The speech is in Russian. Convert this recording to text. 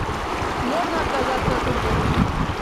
можно отказаться от уборки